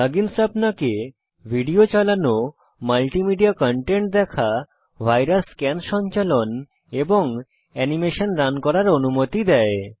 plug ins আপনাকে video চালানো multimedia content দেখা ভাইরাস স্ক্যান সঞ্চালন এবং অ্যানিমেশন রান করার অনুমতি দেয়